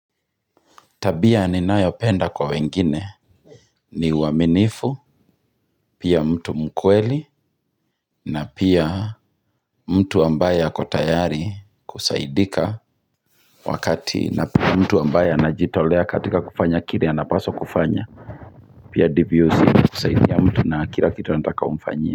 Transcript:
Tabia ninayopenda kwa wengine ni uwaminifu pia mtu mkweli na pia mtu ambaye ako tayari kusaidika wakati na pia mtu ambaye anajitolea katika kufanya kile anapaswa kufanya pia ndivyo kusa kusaidia na kila kitu nataka umfanyie.